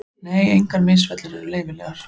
Nei, engar misfellur eru leyfilegar.